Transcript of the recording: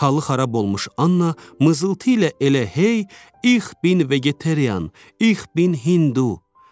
Halı xarab olmuş Anna mızıldtı ilə elə hey, ix bin vegetarian, ix bin hindu.